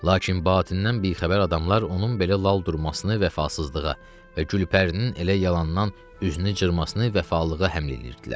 Lakin batindən bixəbər adamlar onun belə lal durmasını vəfasızlığa və Gülpərinin elə yalandan üzünü cırmasını vəfalığa həml eləyirdilər.